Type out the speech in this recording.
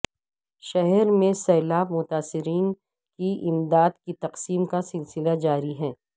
شہر میں سیلاب متاثرین کی امداد کی تقسیم کا سلسلہ جاری